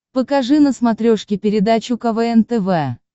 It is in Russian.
покажи на смотрешке передачу квн тв